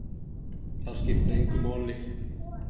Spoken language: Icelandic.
Það skiptir engu máli.